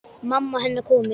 Mamma hennar komin.